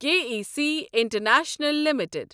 K E C international limited